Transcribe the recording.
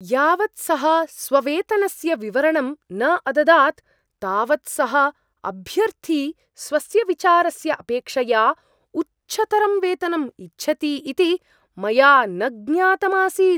यावत् सः स्ववेतनस्य विवरणं न अददात् तावत् सः अभ्यर्थी स्वस्य विचारस्य अपेक्षया उच्चतरं वेतनम् इच्छति इति मया न ज्ञातम् आसीत्।